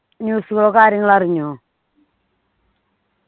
news ഓ കാര്യങ്ങളോ അറിഞ്ഞോ